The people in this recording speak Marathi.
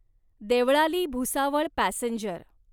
देवळाली भुसावळ पॅसेंजर